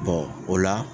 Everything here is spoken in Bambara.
o la